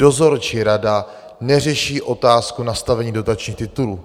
Dozorčí rada neřeší otázku nastavení dotačních titulů.